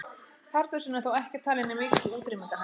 Pardusinn er þó ekki talinn í mikilli útrýmingarhættu.